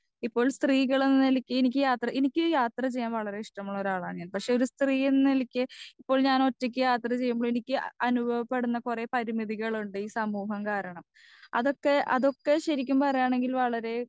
speaker 2 ഇപ്പോൾ സ്ത്രീകളെന്നനിലയ്ക്ക് എനിക്ക് എനിക്ക് യാത്ര ചെയ്യാൻ വളരെ ഇഷ്ട്ടമുളൊരാളാണ് ഞാൻ പക്ഷെ ഒരു സ്ത്രീയെന്ന നിലയ്ക്ക് ഇപ്പോൾ ഞാൻ ഒറ്റക്ക് യാത്ര ചെയ്യുമ്പോ എനിക്ക് അനുഭവപ്പെടുന്ന കൊറേ പരിനിധികളുണ്ട് ഈ സമൂഹം കാരണം അതൊക്കെ അതൊക്കെ ശരിക്കും പറയാണെകിൽ വളരെ